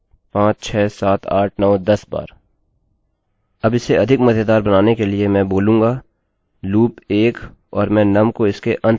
अब इसे अधिक मज़ेदार बनाने के लिए मैं बोलूँगा loop 1 और मैं num को इसके अंत में जोड़ दूँगा